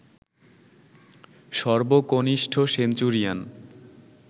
সর্বকনিষ্ঠ centurion